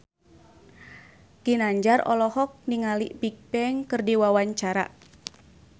Ginanjar olohok ningali Bigbang keur diwawancara